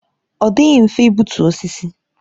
Ọ dịghị mfe igbutu osisi.